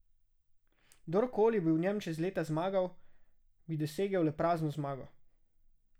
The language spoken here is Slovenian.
Kdor koli bi v njem čez leta zmagal, bi dosegel le prazno zmago.